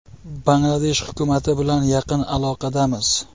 Bangladesh hukumati bilan yaqin aloqadamiz.